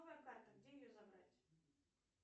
новая карта где ее забрать